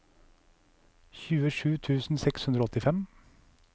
tjuesju tusen seks hundre og åttifem